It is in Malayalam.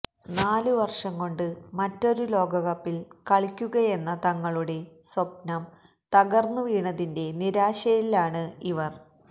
നാലു വര്ഷം കൊണ്ട് മറ്റൊരു ലോകകപ്പില് കളിക്കുകയെന്ന തങ്ങളുടെ സ്വപ്നം തകര്ന്നുവീണതിന്റെ നിരാശയിലാണ് ഇവര്